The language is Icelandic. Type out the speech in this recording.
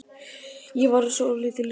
Ég var svolítið ringluð.